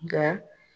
Nka